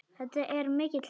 Þetta er mikill heiður.